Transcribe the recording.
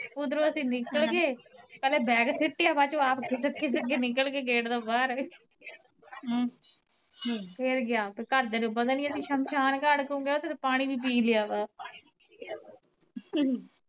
ਉਧਰੋਂ ਅਸੀਂ ਨਿਕਲ ਗਏ ਅਸੀਂ ਬੈਗ ਸਿਟਿਆ ਖਿਸਕ ਖਿਸਕ ਨਿਕਲ ਗਏ ਗੇਟ ਤੋਂ ਬਾਹਰ ਫੇਰ ਗਿਆ ਘਰ ਦਿਆਂ ਨੂੰ ਪਤਾ ਨੀ ਅਸੀਂ ਸ਼ਮਸ਼ਾਨ ਘਾਟ ਘੁੰਮ ਆਏ ਉਥੋਂ ਪਾਣੀ ਵੀ ਪੀ ਲਿਆ ਵਾ